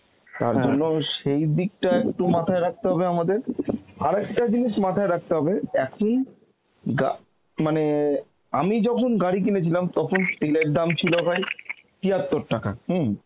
তার সেই দিকটা একটু মাথায় রাখতে হবে আমাদের আর একটা জিনিস মাথায় রাখতে হবে এখন গা মানে আমি যখন গাড়ি কিনে ছিলাম তখন তেলের দাম ছিল ভাই তিয়াত্তর টাকা হম